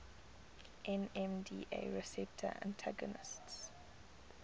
nmda receptor antagonists